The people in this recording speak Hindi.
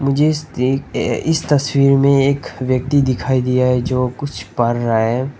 जिस दी इस तस्वीर में एक व्यक्ति दिखाई दिया है जो कुछ पढ़ रहा है।